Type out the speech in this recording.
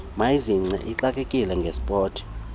mayizigcine ixakekile ngesport